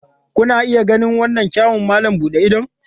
Kuna iya ganin irin kyawun wannan malam buɗe idon?